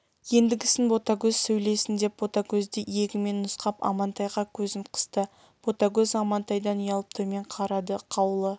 ендігісін ботагөз сөйлесін деп ботагөзді иегімен нұсқап амантайға көзін қысты ботагөз амантайдан ұялып төмен қарады қаулы